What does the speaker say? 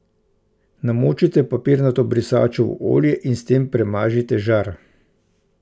Namočite papirnato brisačo v olje in s tem premažite žar.